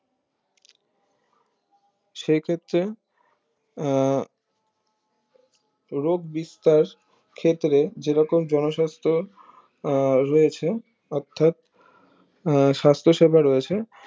সেই ক্ষেত্রে আহ রোগ বিস্তার ক্ষেত্রে যেরকম জন সাস্থ আহ রয়েছে অর্থাৎ আহ সাস্থ সেবা রয়েছে